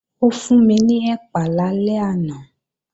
Ó fún mi ní ẹ̀pà lálẹ́ àná